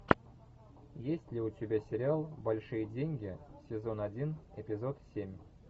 есть ли у тебя сериал большие деньги сезон один эпизод семь